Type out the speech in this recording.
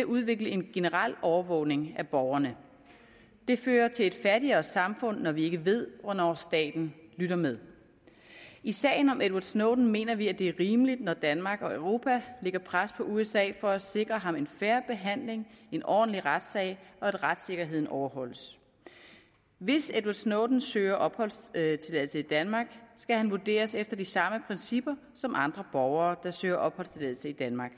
at udvikle en generel overvågning af borgerne det fører til et fattigere samfund når vi ikke ved hvornår staten lytter med i sagen om edward snowden mener vi det er rimeligt når danmark og europa lægger pres på usa for at sikre ham en fair behandling en ordentlig retssag og at retssikkerheden overholdes hvis edward snowden søger opholdstilladelse i danmark skal han vurderes efter de samme principper som andre borgere der søger opholdstilladelse i danmark